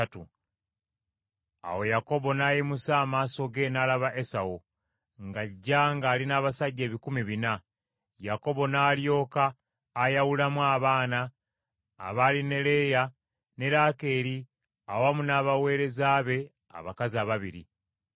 Awo Yakobo n’ayimusa amaaso ge n’alaba Esawu ng’ajja ng’ali n’abasajja ebikumi bina. Yakobo n’alyoka ayawulamu abaana abaali ne Leeya ne Laakeeri awamu n’abaweereza be abakazi ababiri.